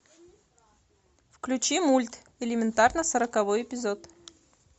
включи мульт элементарно сороковой эпизод